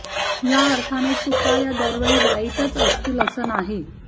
या अर्थाने चुका या दरवेळी वाईटच असतील असं नाही